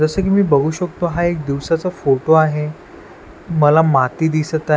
जसं की मी बघू शकतो हा एक दिवसाचा फोटो आहे मला माती दिसत आहे.